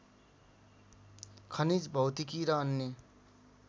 खनिज भौतिकी र अन्य